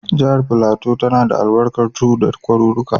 Jihar Filato tana da albarkar tudu da kwaruruka.